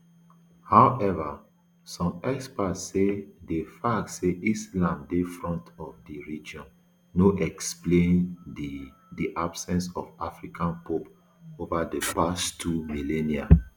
however some experts say di fact say islam dey front for di region no explain di di absence of african pope over di past two millennia